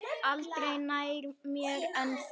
Aldrei nær mér en þá.